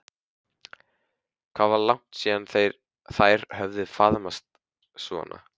Hvað var langt síðan þær höfðu faðmast svona?